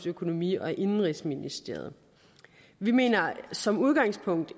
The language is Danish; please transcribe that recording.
økonomi og indenrigsministeriet vi mener som udgangspunkt